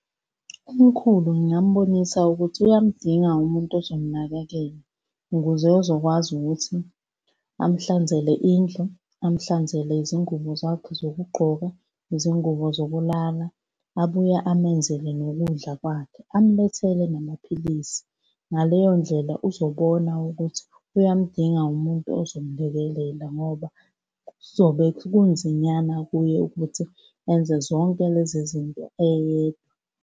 Umkhulu ngingambonisa ukuthi uyamdinga umuntu ozomnakekela ukuze ezokwazi ukuthi amuhlanzele indlu, amuhlanzele izingubo zakhe zokugqoka, izingubo zokulala, abuye amenzele nokudla kwakhe, amulethele namaphilisi. Ngaleyo ndlela uzobona ukuthi uyamdinga umuntu ozomlekelela ngoba zobe kunzinyana kuye ukuthi enze zonke lezi zinto eyedwa.